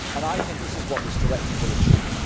I think this is what this directive will achieve.